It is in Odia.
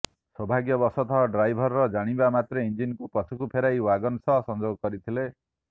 ସୌଭାଗ୍ୟବଶତଃ ଡ୍ରାଇଭର ଜାଣିବା ମାତ୍ରେ ଇଞ୍ଜିନକୁ ପଛକୁ ଫେରାଇ ୱାଗନ ସହ ସଂଯୋଗ କରିଥିଲେ